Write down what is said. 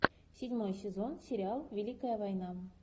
седьмой сезон сериал великая война